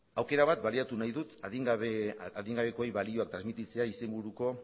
aukera bat baliatu nahi dut adin gabekoei balio transmititzea izenburuko